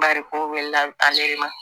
Bariko wulila ale de ma